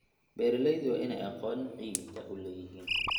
Beeraleydu waa inay aqoon ciidda u leeyihiin.